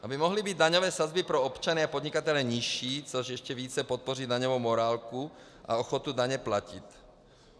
Aby mohly být daňové sazby pro občany a podnikatele nižší, což ještě víc podpoří daňovou morálku a ochotu daně platit.